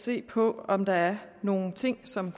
se på om der er nogle ting som